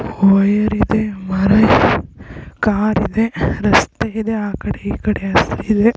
wire ಇದೆ car ಇದೆ ರಸ್ತೆ ಇದೆ ಆ ಕಡೆ ಈ ಕಡೆ